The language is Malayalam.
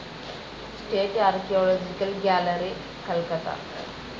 state archaeological gallery, Calcutta